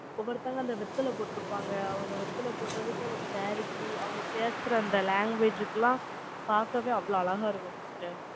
ஒவ்வொருத்தவங்க, அந்த வெத்தல போட்டிருப்பாங்க. அவங்க வெத்தல போட்டதுக்கு, அந்த saree க்கு, அவங்க பேசுற அந்த language க்கு எல்லாம், பாக்கவே அவ்வளவு அழகா இருக்கும். sister r